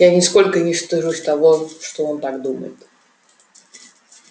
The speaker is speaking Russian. и я нисколько не стыжусь того что он так думает